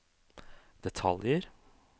detaljer